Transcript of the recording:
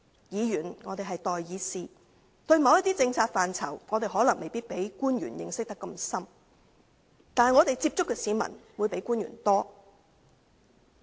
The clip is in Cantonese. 議員是代議士，對某些政策範疇，我們可能不如官員的認識那麼深，但我們接觸的市民比官員多。